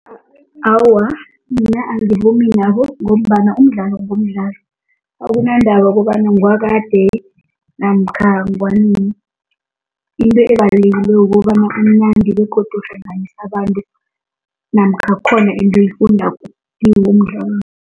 Awa, mina angivumi nabo ngombana umdlalo ngomdlalo, akunandaba kobana ngewakade namkha ngowanini, into ebaliweko kobana umnandi begodu uhlanganisa abantu namkha khona into oyifundako kiwo umdlalo.